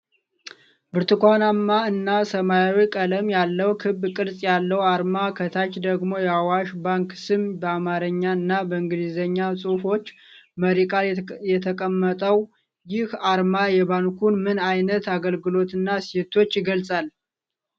ብርቱካንማ እና ሰማያዊ ቀለም ያለው ክብ ቅርጽ ያለው አርማ፣ ከታች ደግሞ የአዋሽ ባንክ ስም በአማርኛ እና በእንግሊዝኛ ጽሑፎች መሪ ቃል የተቀመጠው፣ ይህ አርማ የባንኩን ምን ዓይነት አገልግሎትና እሴቶችን ይገልጻል?